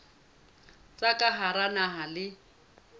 tsa ka hara naha le